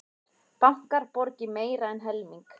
Bankar borgi meira en helming